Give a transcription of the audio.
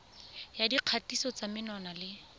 ya dikgatiso tsa menwana le